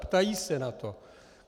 Ptají se na to.